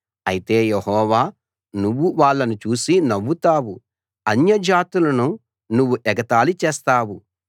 అయితే యెహోవా నువ్వు వాళ్ళను చూసి నవ్వుతావు అన్యజాతులను నువ్వు ఎగతాళి చేస్తావు